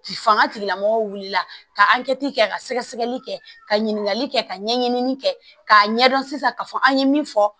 K'i fanga tigilamɔgɔw wulila ka kɛ ka sɛgɛsɛgɛli kɛ ka ɲininkali kɛ ka ɲɛɲini kɛ k'a ɲɛdɔn sisan k'a fɔ an ye min fɔ